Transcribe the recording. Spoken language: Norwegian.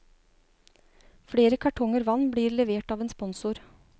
Flere kartonger vann blir levert av en sponsor.